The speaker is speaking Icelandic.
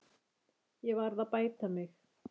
Ég varð að bæta mig.